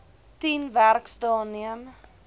tien werksdae neem